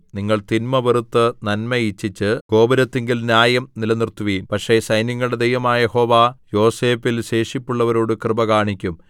നിങ്ങൾ തിന്മ വെറുത്ത് നന്മ ഇച്ഛിച്ച് ഗോപുരത്തിങ്കൽ ന്യായം നിലനിർത്തുവിൻ പക്ഷേ സൈന്യങ്ങളുടെ ദൈവമായ യഹോവ യോസേഫിൽ ശേഷിപ്പുള്ളവരോട് കൃപ കാണിക്കും